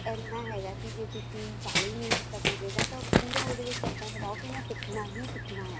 ਇੰਨਾ ਹੈਗਾ ਜੇ ਤੁਸੀਂ ਚਾਲੀ ਮਿੰਟ ਦਾ period ਆ ਤਾਂ ਪੂਰਾ ਉਹਦੇ ਵਿੱਚ ਇੱਦਾਂ ਲਗਾਉ ਕੇ ਮੈਂ ਸਿੱਖਣਾ ਹੀ ਸਿੱਖਣਾ ਹੈ